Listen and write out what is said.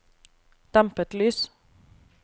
dempet lys